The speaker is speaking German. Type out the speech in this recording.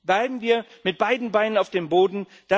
Bleiben wir mit beiden Beinen auf dem Boden!